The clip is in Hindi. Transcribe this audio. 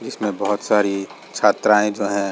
इसमें बहुत सारी छात्राएं जो हैं --